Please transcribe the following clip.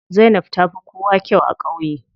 Zainab tafi kowa kyau a ƙauye.